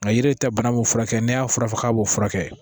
Nka yiri tɛ bana mun furakɛ n'i y'a fura fɔ k'a b'o furakɛ